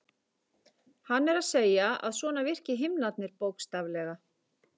Hann er að segja að svona virki himnarnir bókstaflega.